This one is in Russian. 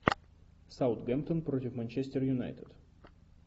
саутгемптон против манчестер юнайтед